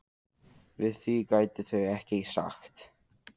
Við því gætu þau ekkert sagt.